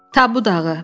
Tabu dağı.